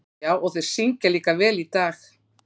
Já, og þeir syngja líka vel í dag.